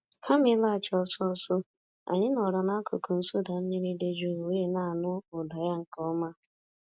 Kama ịlaghachi ọsọ ọsọ, anyị nọọrọ n'akụkụ nsụda mmiri dị jụụ wee na-anụ ụda ya nke ọma.